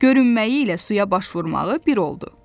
Görünməyi ilə suya baş vurmağı bir oldu.